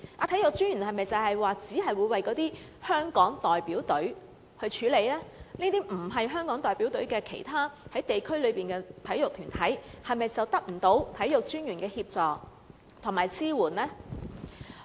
他是否只會為香港代表隊處理問題，而是否這些只屬於地區而不屬於香港代表隊的其他體育團隊，便得不到體育專員的協助和支援呢？